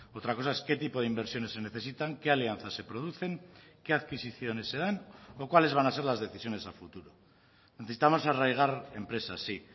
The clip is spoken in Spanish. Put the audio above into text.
otra cosa es qué tipo de inversiones se necesitan qué alianzas se producen qué adquisiciones se dan o cuáles van a ser las decisiones a futuro necesitamos arraigar empresas sí